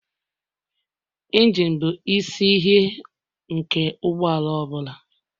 Injine bụ isi ihe nke ụgbọala ọ bụla